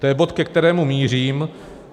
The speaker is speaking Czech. To je bod, ke kterému mířím.